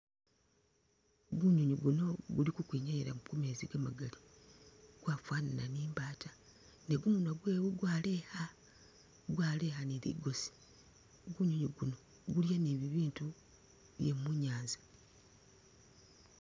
Kunywinywi kuno kuli khukhwinyayila mu mumeetsi kwafanana ni mbata kumunywa kwe kwaaleya kwaaleya ni likosi kunywinywi kuno kulya ni bibindu bye mu'nyanza